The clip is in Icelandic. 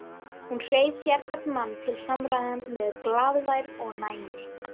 Hún hreif sérhvern mann til samræðna með glaðværð og næmi.